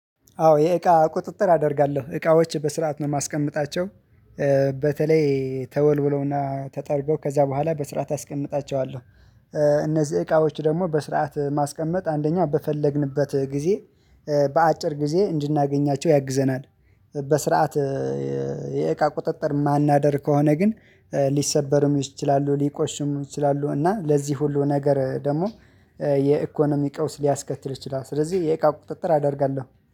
አዎ የእቃ ቁጥጥር አደርጋለሁ እቃዎች በስርዓት ነው የማስቀምጣቸው። በተለይ ተወልውለውና ተጠርገው ከዛ በኋላ በስርዓት አስቀምጣቸዋለሁ። እነዚህ እቃዎች ደግሞ በስርዓት ማስቀመጥ አንደኛው በፈለግንበት ጊዜ በአጭር ጊዜ እንድናገኛቸው ያግዘናል። በስርዓት የእቃ ቁጥጥር ማናደርግ ከሆነ ግን ሊሰበሩም ይችላሉ ሊቆሽሙም ይችላሉ እና ለዚህ ሁሉ ነገር ደግሞ የኢኮኖሚ ቀውስ ሊያስከትል ይችላል። ስለዚህ የእቃ ቁጥጥር አደርጋለሁ።